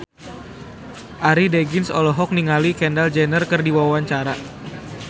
Arie Daginks olohok ningali Kendall Jenner keur diwawancara